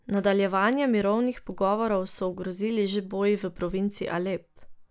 Nadaljevanje mirovnih pogovorov so ogrozili že boji v provinci Alep.